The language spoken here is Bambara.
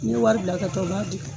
N ye wari bila ka n y'a di